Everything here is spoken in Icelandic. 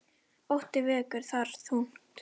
Ótti vegur þar þungt.